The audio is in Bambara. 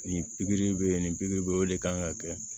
Nin pikiri bɛ yen nin pikiri bɛ yen o de kan ka kɛ